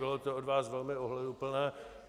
Bylo to od vás velmi ohleduplné.